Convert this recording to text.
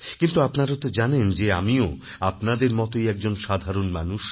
কিন্তু আপনারা তো জানেন যে আমিও আপনাদের মতই একজন সাধারণ মানুষ